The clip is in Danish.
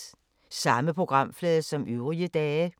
Samme programflade som øvrige dage